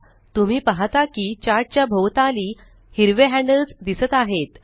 तुम्ही पाहता की चार्ट च्या भोवताली हिरवे हॅंडल्स दिसत आहेत